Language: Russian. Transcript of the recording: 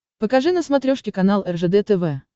покажи на смотрешке канал ржд тв